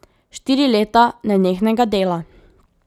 Štiri leta nenehnega dela.